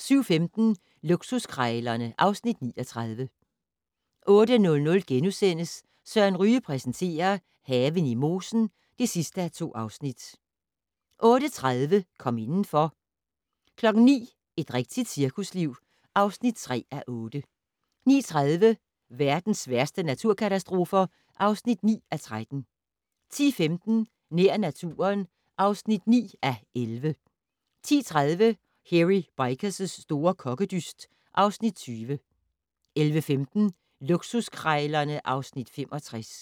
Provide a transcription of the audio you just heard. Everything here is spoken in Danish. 07:15: Luksuskrejlerne (Afs. 39) 08:00: Søren Ryge præsenterer: Haven i mosen (2:2)* 08:30: Kom indenfor 09:00: Et rigtigt cirkusliv (3:8) 09:30: Verdens værste naturkatastrofer (9:13) 10:15: Nær naturen (9:11) 10:30: Hairy Bikers' store kokkedyst (Afs. 20) 11:15: Luksuskrejlerne (Afs. 65)